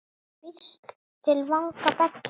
Hvísl til vanga beggja?